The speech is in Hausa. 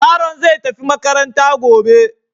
Yaron zai tafi makaranta gobe.